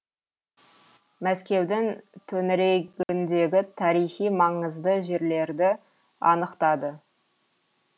мәскеудің төңірегіндегі тарихи маңызды жерлерді анықтады